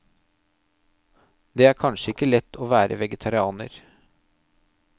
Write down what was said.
Det er kanskje ikke lett å være vegetarianer.